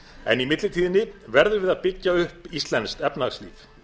en í millitíðinni verðum við að byggja upp íslenskt efnahagslíf